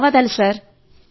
ధన్యవాదాలు సార్